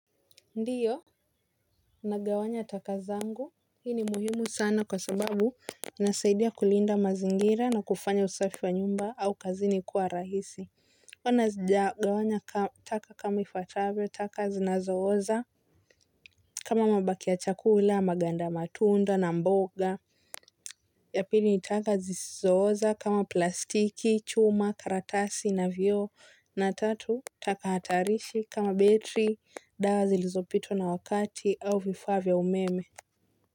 Ndiyo. Nagawanya taka zangu hii ni muhimu sana kwa sababu inasaidia kulinda mazingira na kufanya usafi wa nyumba au kazini kuwa rahisi kama sijagawanya taka kama ifuatavyo taka zinazooza kama mabakio ya chakula maganda matunda na mboga. Ya pili ni taka zisizooza kama plastiki, chuma, karatasi na vio na tatu. Taka hatarishi kama betri, dawa zilizopitwa na wakati au vifaa vya umeme.